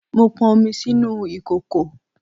Mo pọn omi sínú ìkòkò